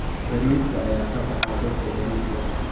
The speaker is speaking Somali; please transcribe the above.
Bariiska ayaa ka baxa dhulka bariiska.